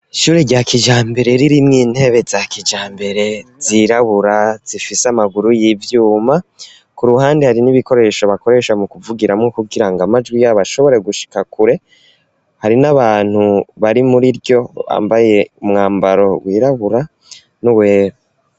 Ishure rya kijambere ririmwo intebe za kijambere zirabura zifise amaguru y'ivyuma ku ruhande hari n'ibikoresho bakoresha mu kuvugiramwo kugirango amajwi yabo ashobore gushika kure hari n'abantu bari muri ryo bambaye umwambaro wirabura n'uwera.